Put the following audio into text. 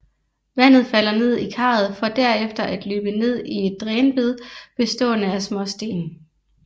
Vandet falder ned i karret for derefter at løbe ned i et drænbed bestående af småsten